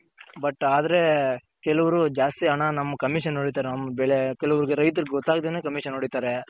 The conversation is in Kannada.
but ಆದ್ರೆ ಕೆಲವ್ರು ಜಾಸ್ತಿ ಹಣ ನಮ್ Commission ಹೊಡಿತಾರೆ ನಮ್ ಬೆಳೆ ಕೆಲವರ್ಗೆ ರೈತ್ರಗ್ ಗೊತ್ತಾಗ್ದೆನೆ Commission ಹೊಡಿತಾರೆ.